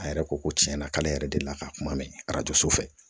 A yɛrɛ ko ko tiɲɛna k'ale yɛrɛ deli ka kuma mɛn arajo so fɛ